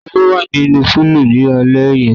Ta ló wà ní púùlù náà ni alẹ́ yẹn?